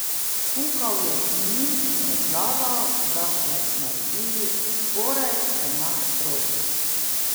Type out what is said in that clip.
Kukal je k njim in razlagal, da so naredili skoraj enak krožnik ...